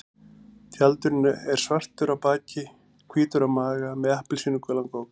Tjaldurinn er svartur á baki, hvítur á maga og með appelsínugulan gogg.